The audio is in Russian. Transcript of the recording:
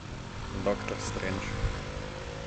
доктор стрендж